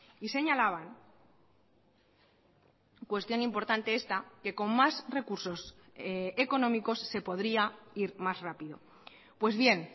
y señalaban cuestión importante esta que con más recursos económicos se podría ir más rápido pues bien